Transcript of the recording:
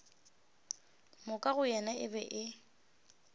moka go yena e be